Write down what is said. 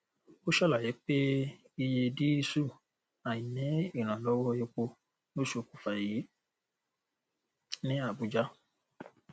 ó ṣàlàyé pé iye díísù àìní ìrànlọwọ epo ló ṣokùnfà èyí ní abuja